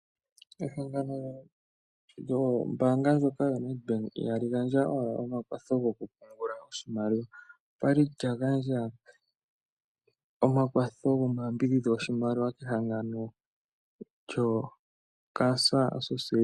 Ehangano lyombaanga ndjoka yaNedbank ihali gandja owala omakwatho gokupungula oshimaliwa. Okwa li lya gandja omakwatho gomayambidhidho goshimaliwa kehangano lyoCancer Association.